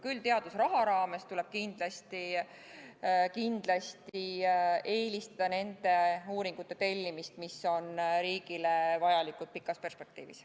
Küll aga tuleb teadusraha raames kindlasti eelistada nende uuringute tellimist, mis on riigile vajalikud pikas perspektiivis.